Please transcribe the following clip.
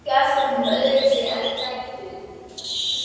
Ég man ekki eftir honum öðruvísi en dælduðum.